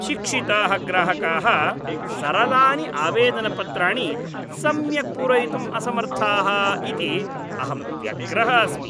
शिक्षिताः ग्राहकाः सरलानि आवेदनपत्राणि सम्यक् पूरयितुम् असमर्थाः इति अहं व्यग्रः अस्मि।